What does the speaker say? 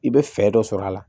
I bɛ fɛɛrɛ dɔ sɔr'a la